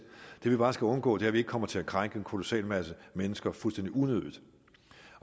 det vi bare skal undgå er at vi kommer til at krænke en kolossal masse mennesker fuldstændig unødigt